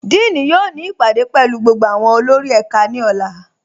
Díìní yóò ni ipádé pẹ̀lú gbogbo awọn olórì ẹká ni ọ̀là.